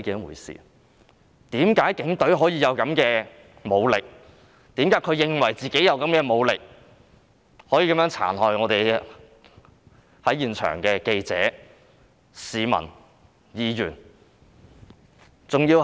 為何他們認為自己配有這種武力，便可以殘害在現場的記者、市民、議員？